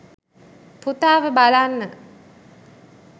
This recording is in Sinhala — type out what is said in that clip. පුතාව බලන්න?